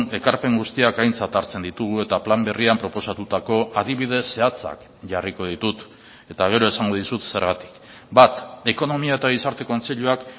ekarpen guztiak aintzat hartzen ditugu eta plan berrian proposatutako adibide zehatzak jarriko ditut eta gero esango dizut zergatik bat ekonomia eta gizarte kontseiluak